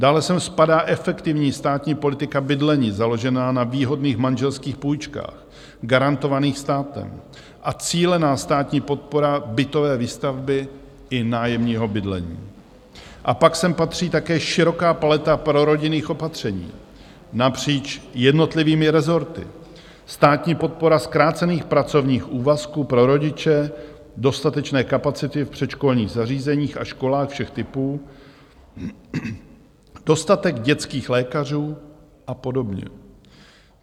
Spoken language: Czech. Dále sem spadá efektivní státní politika bydlení založená na výhodných manželských půjčkách garantovaných státem a cílená státní podpora bytové výstavby i nájemního bydlení, a pak sem patří také široká paleta prorodinných opatření napříč jednotlivými rezorty, státní podpora zkrácených pracovních úvazků pro rodiče, dostatečné kapacity v předškolních zařízeních a školách všech typů, dostatek dětských lékařů a podobně.